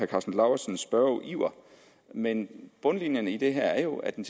karsten lauritzens spørgeiver men bundlinjen i det her er jo at den